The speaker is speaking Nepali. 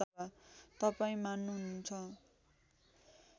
तपाईँ मान्नुहुन्छ